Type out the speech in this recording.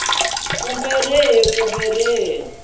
kumbe rihi kumbe xiphemu xa